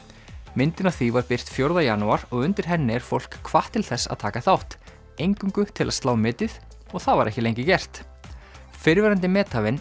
myndin af því var birt fjórða janúar og undir henni er fólk hvatt til þess að taka þátt eingöngu til að slá metið og það var ekki lengi gert fyrrverandi methafinn